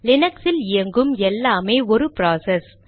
Linux இல் இயங்கும் எல்லாமே ஒரு ப்ராசஸ்